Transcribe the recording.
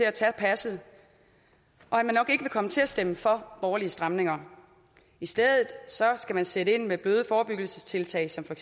at tage passet og at man nok ikke vil komme til at stemme for borgerlige stramninger i stedet skal man sætte ind med bløde forebyggelsestiltag som for